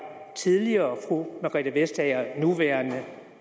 tidligere fru margrethe vestager nuværende